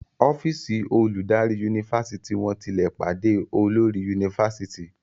ọ́fíìsì oludari Yunifásitìni wón tí lẹ pàdé olórí Yunifásitìni